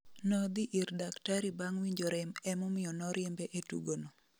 Nodhi ir daktari bang winjo rem emomiyo noriembe e tugo go